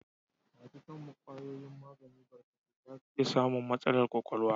Masu shan kwayoyin magani barkatai za su iya samun matsalar ƙwaƙwalwa.